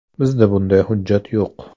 Bizda bunday hujjat yo‘q.